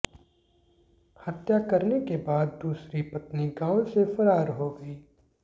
हत्या करने के बाद दूसरी पत्नी गांव से फरार हो गयी